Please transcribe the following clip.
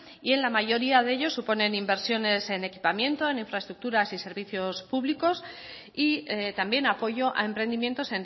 y en la mayoría de ellos suponen inversiones en equipamiento en infraestructuras y servicios púbicos y también apoyo a emprendimientos